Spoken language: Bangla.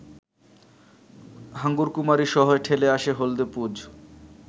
হাঙ্গরকুমীরসহ ঠেলে আসে হলদে পুঁজ